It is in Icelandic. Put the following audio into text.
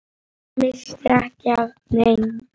Missti ekki af neinu.